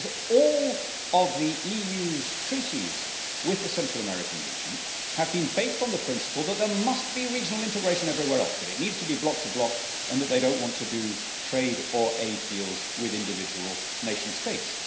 Because all of the EU's treaties with the Central American region have been based on the principle that there must be regional integration everywhere else, that it needs to be bloc to bloc and that they don't want to do trade or aid deals with individual nation states.